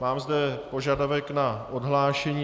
Mám zde požadavek na odhlášení.